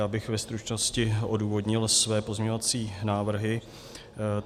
Já bych ve stručnosti odůvodnil své pozměňovací návrhy.